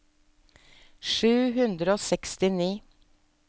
sju hundre og sekstini